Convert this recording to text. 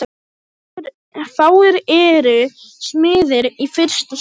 Fáir eru smiðir í fyrsta sinn.